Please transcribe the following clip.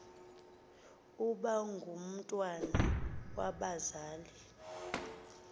uba ngumntwana wabazali